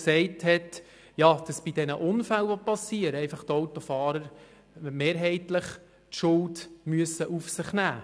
Demnach müssen bei Unfällen mehrheitlich die Autofahrer die Schuld auf sich nehmen.